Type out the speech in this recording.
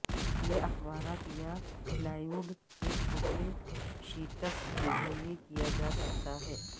یہ اخبارات یا پلائیووڈ کے چھوٹے شیٹس کے ذریعے کیا جا سکتا ہے